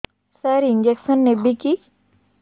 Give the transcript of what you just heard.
ସାର injection ନେବିକି